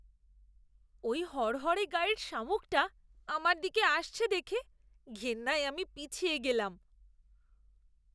ওই হড়হড়ে গায়ের শামুকটা আমার দিকে আসছে দেখে ঘেন্নায় আমি পিছিয়ে গেলাম!